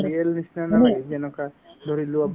real নিচিনা নালাগে যেনেকুৱা ধৰিলোৱা